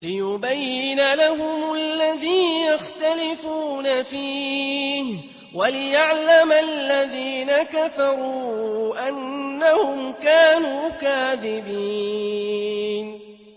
لِيُبَيِّنَ لَهُمُ الَّذِي يَخْتَلِفُونَ فِيهِ وَلِيَعْلَمَ الَّذِينَ كَفَرُوا أَنَّهُمْ كَانُوا كَاذِبِينَ